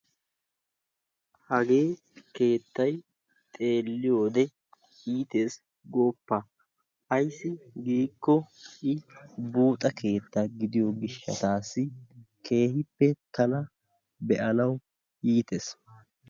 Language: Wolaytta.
Hagee keettay xeelliyode iitees gooppa. Ayssi giikko I buuxa keetta gidiyo gishshataassi keehippe tana be'anawu iitees.